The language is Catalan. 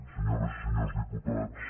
senyores i senyors diputats